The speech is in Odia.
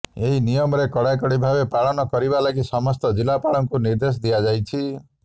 ଏହି ନିୟମ କଡାକଡି ଭାବେ ପାଳନ କରିବା ଲାଗି ସମସ୍ତ ଜିଲ୍ଲାପାଳଙ୍କୁ ନିଦେ୍ର୍ଦଶ ଦିଆଯାଇଛି